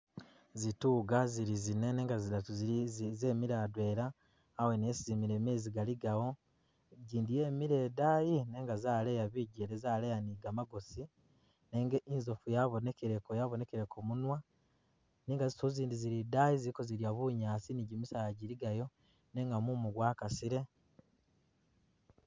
Zituga zili zine nenga zidatu zili zemile adwela awene esi zimile mezi galigawo ,igyindi yemile idaayi nenga zaleya bigyele zaleya ni gamagosi nenga inzofu yabonekeleko, yabonekeleko munwa nenga zituga zindi zili idaayo zili kozilya bunyaasi ni gyimisaala gyiligayo nenga mumu gwakasile